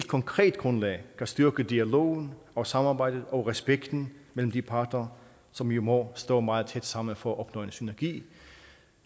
konkret grundlag kan styrke dialogen og samarbejdet og respekten mellem de parter som jo må stå meget tæt sammen for at opnå en synergi